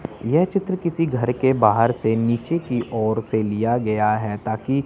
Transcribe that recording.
यह चित्र किसी घर के बाहर से नीचे की ओर से लिया गया है ताकि--